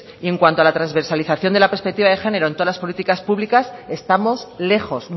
en cuanto a la transversalización de la perspectiva de género en todas las políticas públicas estamos lejos